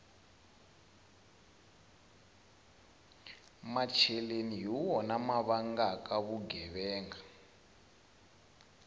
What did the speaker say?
macheleni hi wona ma vangaka vugevenga